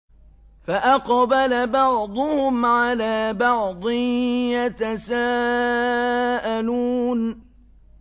فَأَقْبَلَ بَعْضُهُمْ عَلَىٰ بَعْضٍ يَتَسَاءَلُونَ